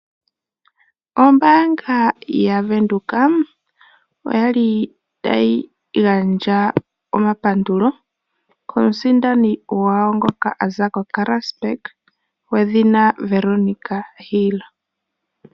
Ombaanga yaVenduka oyali tayi gandja omapandulo komusindani gwawo ngoka a za koKarasburg, gwedhina Veronica Hill.